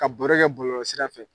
Ka baro kɛ bɔlɔlɔsira fɛ.